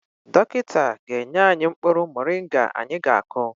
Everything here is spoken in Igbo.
Dọkịta ga-enye anyị mkpụrụ moringa anyị ga-akụ.